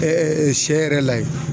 sɛ yɛrɛ la yen.